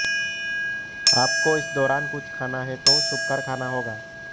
आपको इस दौरान कुछ खाना है तो छुपकर खाना होगा